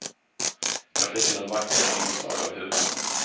Grafiken är vacker med inslag av humor.